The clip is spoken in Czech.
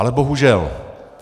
Ale bohužel.